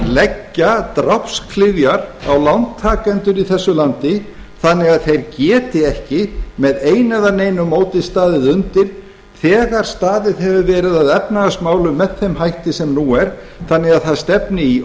leggja drápsklyfjar á lántakendur í þessu landi þannig að þeir geti ekki með einu eða neinu móti staðið undir þegar staðið hefur verið að efnahagsmálum með þeim hætti sem nú er þannig að það stefni í